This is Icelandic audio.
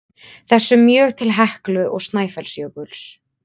þessum mjög til Heklu og Snæfellsjökuls.